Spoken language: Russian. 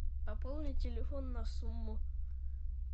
пополнить телефон на сумму